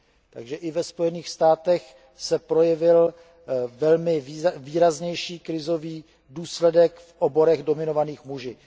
Takže i ve Spojených státech se projevil velmi výraznější krizový důsledek v oborech dominovaných muži.